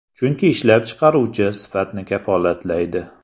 Chunki ishlab chiqaruvchi sifatni kafolatlaydi.